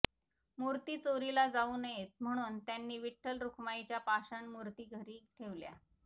मूर्ती चोरीला जाऊ नयेत म्हणून त्यांनी विठ्ठल रखुमाईच्या पाषाण मुर्ती घरी ठेवल्या